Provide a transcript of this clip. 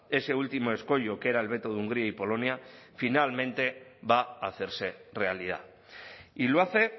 ese último escollo que era el veto de hungría y polonia finalmente va a hacerse realidad y lo hace